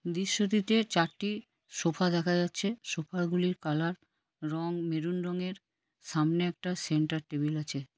দৃশ্যটিতে চারটি সোফা দেখা যাচ্ছে। সোফা গুলির কালার রঙ মেরুন রঙের সামনে একটা সেন্টার টেবিল আছে।